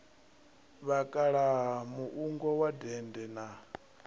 vhakalaha muungo wa dende na